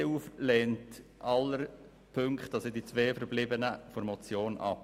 Die EDU-Fraktion lehnt auch die zwei verbleibenden Punkte der Motion ab.